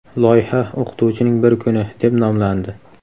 Loyiha "O‘qituvchining bir kuni" deb nomlandi.